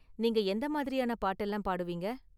நீங்க எந்த மாதிரியான பாட்டெல்லாம் பாடுவீங்க?